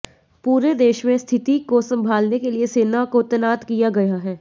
पूरे देश में स्थिति को संभालने के लिए सेना को तैनात किया गया है